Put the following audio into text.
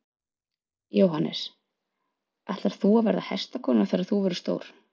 Jóhannes: Ætlar þú að verða hestakona þegar þú verður stór?